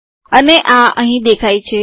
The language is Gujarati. અને આ અહીં દેખાય છે